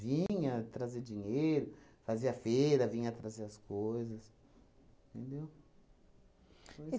trazer dinheiro, fazia feira, vinha trazer as coisas, entendeu?